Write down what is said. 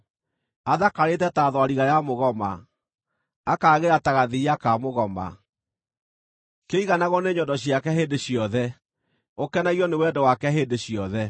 Athakarĩte ta thwariga ya mũgoma, akaagĩra ta gathiiya ka mũgoma: kĩiganagwo nĩ nyondo ciake hĩndĩ ciothe, ũkenagio nĩ wendo wake hĩndĩ ciothe.